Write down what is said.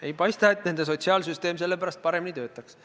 Ei paista, et nende sotsiaalsüsteem sellepärast paremini töötaks.